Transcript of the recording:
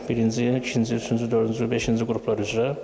Həm birinci, ikinci, üçüncü, dördüncü, beşinci qruplar üzrə.